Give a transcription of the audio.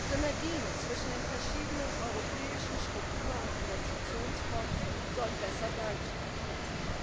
Synergien zwischen den verschiedenen europäischen Struktur und Investitionsfonds sollen besser dargestellt werden.